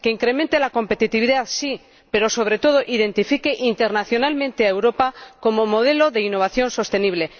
que incremente la competitividad, sí, pero, sobre todo, que identifique internacionalmente a Europa como modelo de innovación sostenible.